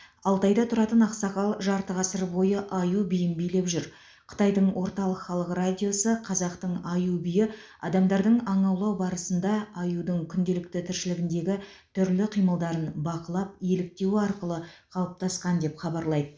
алтайда тұратын ақсақал жарты ғасыр бойы аю биін билеп жүр қытайдың орталық халық радиосы қазақтың аю биі адамдардың аң аулау барысында аюдың күнделкті тіршілігіндегі түрлі қимылдарын бақылап еліктеуі арқылы қалыптасқан деп хабарлайды